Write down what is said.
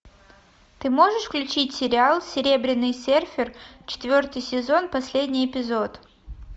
ты можешь включить сериал серебряный серфер четвертый сезон последний эпизод